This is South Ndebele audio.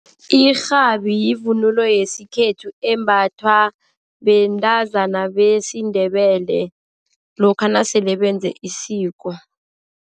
Irhabi yivunulo yesikhethu embathwa bentazana besiNdebele lokha nasele benze isiko.